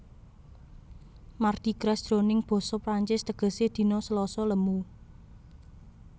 Mardi Gras jroning basa Prancis tegesé dina Slasa lemu